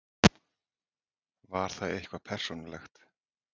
Var það eitthvað persónulegt?